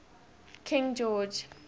king george